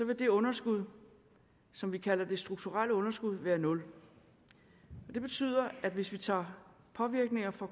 det underskud som vi kalder det strukturelle underskud være nul det betyder at hvis vi tager påvirkninger fra